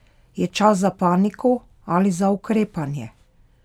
Je čas za paniko ali za ukrepanje?